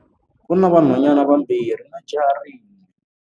U na vanhwanyana vambirhi na jaha rin'we.